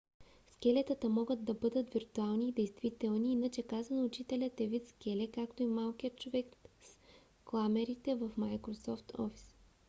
скелетата могат да бъдат виртуални и действителни иначе казано учителят е вид скеле както и малкият човек с кламерите в microsoft office